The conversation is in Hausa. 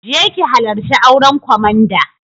Je ki halarci auren komanda!